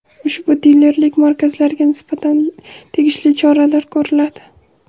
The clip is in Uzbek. Ushbu dilerlik markazlariga nisbatan tegishli choralar ko‘riladi.